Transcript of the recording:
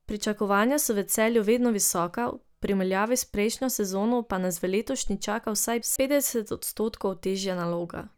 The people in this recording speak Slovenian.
Pričakovanja so v Celju vedno visoka, v primerjavi s prejšnjo sezono pa nas v letošnji čaka vsaj petdeset odstotkov težja naloga.